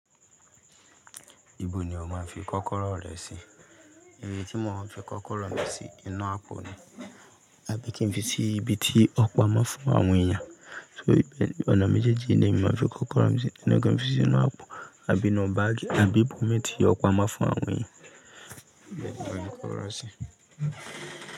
Ibo ni o máa ń fi kọ́kọ́rọ́ rẹ sí? Ibi tí mò maa n fi kọ́kọ́rọ́ mi sí, inú àpò ni. Àbí kí n fi sí ibi tí ọpa máa ń fún àwọn èèyàn? So ìbẹ̀, ọ̀nà méjèèjì yi ni ma fi kọ́kọ́rọ́ mi sí. Abii kin fi sí inú àpò, àbí inu bagi àbí ibòmi ti ọpamo fún àwọn èèyàn. Ìbẹ̀ ni mò maa n fi kọ́kọ́rọ́ sí.